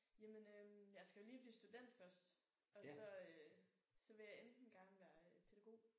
Jamen øh jeg skal jo lige blive student først og så øh så vil jeg enten gerne være pædagog